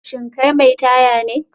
Shin kai mai taya ne?